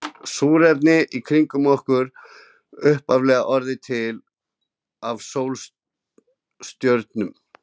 Súrefnið í kringum okkur hefur upphaflega orðið til í sólstjörnum.